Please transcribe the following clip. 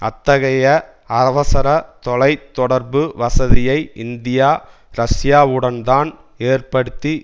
அத்தகைய அவசரத் தொலை தொடர்பு வசதியை இந்தியா ரஷ்யாவுடன்தான் ஏற்படுத்தி